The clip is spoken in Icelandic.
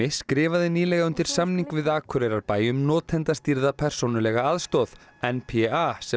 skrifaði nýlega undir samning við Akureyrarbæ um notendastýrða persónulega aðstoð n p a sem